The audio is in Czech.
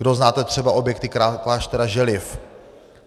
Kdo znáte třeba objekty kláštera Želiv,